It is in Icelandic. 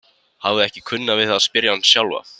Hafði ekki kunnað við að spyrja hana sjálfa.